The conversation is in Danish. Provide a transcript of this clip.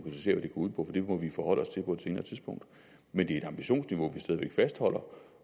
ud på det må vi forholde os til på et senere tidspunkt men det er et ambitionsniveau vi stadig væk fastholder